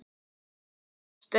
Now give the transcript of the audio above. Svo brosti hann.